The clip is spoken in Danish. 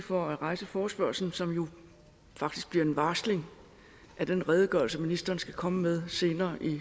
for at rejse forespørgslen som jo faktisk bliver en varsling af den redegørelse ministeren skal komme med senere